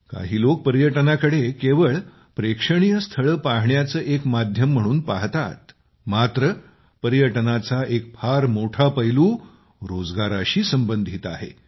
काही लोक पर्यटनाकडे केवळ प्रेक्षणीय स्थळे पाहण्याचे एक माध्यम म्हणून पाहतात मात्र पर्यटनाचा एक फार मोठा पैलू रोजगाराशी संबंधित आहे